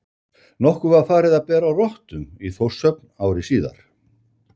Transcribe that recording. Nokkuð var farið að bera á rottum í Þórshöfn ári síðar.